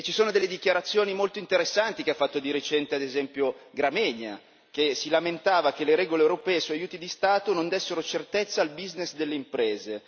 E ci sono delle dichiarazioni molto interessanti che ha fatto di recente ad esempio Gramegna che si lamentava che le regole europee sugli aiuti di Stato non dessero certezza al business delle imprese.